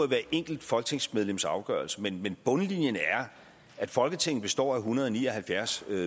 det enkelte folketingsmedlems afgørelse men bundlinjen er at folketinget består af en hundrede og ni og halvfjerds